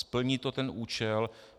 Splní to ten účel.